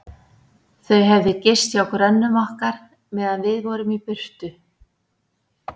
Þau höfðu gist hjá grönnum okkar, meðan við vorum í burtu.